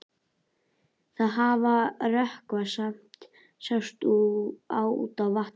Það hafði rökkvað en samt sást út á vatnið.